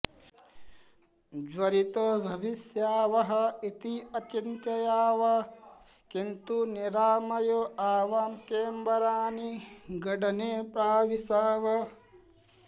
ज्वरितौ भविष्यावः इति अचिन्तयाव किन्तु निरामयौ आवां केन्बरानिगडने प्राविशाव